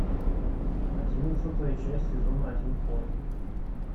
одиннадцатая часть сезона один хор